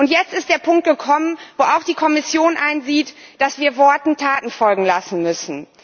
Und jetzt ist der Punkt gekommen, an dem auch die Kommission einsieht, dass wir Worten Taten folgen lassen müssen.